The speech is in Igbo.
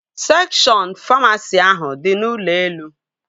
Sekshọn famasi ahụ dị n'ụlọ elu